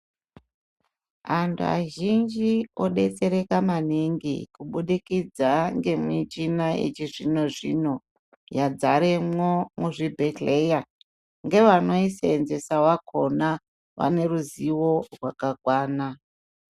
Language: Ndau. Antu azhinji odetsereka maningi kubudikidza ngemichina yechizvino-zvino yadzaremwo muzvibhedhleya, ngevanoyiseenzesa vakona vane ruzivo rwakakwana.